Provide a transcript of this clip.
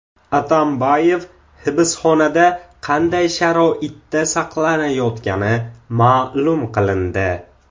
Atambayev hibsxonada qanday sharoitda saqlanayotgani ma’lum qilindi.